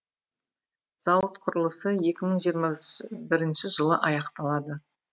зауыт құрылысы екі мың жиырма бірінші жылы аяқталады